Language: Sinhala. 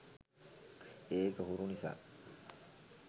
ඒක හුරු නිසා